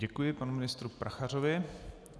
Děkuji panu ministru Prachařovi.